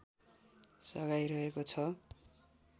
सघाइरहेको छ